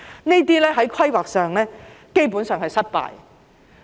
在規劃上，這些基本上是失敗的。